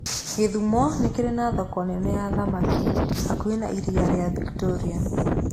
Gĩthumo nĩ kĩrĩ na thoko nene ya thamaki hakuhĩ na Iria rĩa Victoria.